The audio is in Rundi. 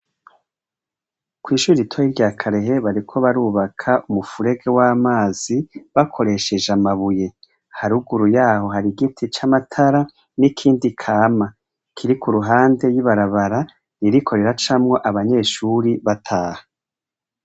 Kw'ishure ritoyi rya karehe bariko barubaka umufurege w'amazi bakoresheje amabuye, haruguru yaho hari igiti c'amatara n'ikindi kama. Kiri ku ruhande y'ibarabara, ririko riracamwo abanyeshuri bataha.